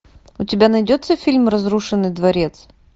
у тебя найдется фильм разрушенный дворец